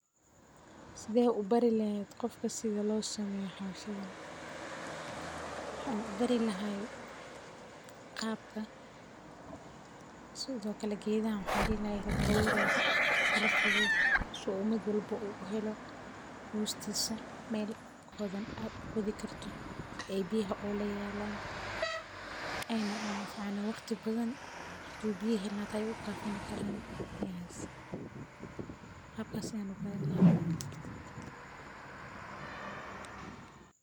Sidee u bari lahayd qofka sida loo sameeyo xabashidan? Waxaan u bari lahaa qaabkan: U sheeg in marka geedaha la abuurayo la kala fogaado, si uu mid walba u helo hoostiisa. Meel qodan oo aad qodi karto si ay biyuhu ugu yaraadaan, una anfaco waqti badan xitaa haddii aysan biyo helin, waxay ka faa’iidaysan karaan biyahaas. Habkaas ayaan u bari lahaa.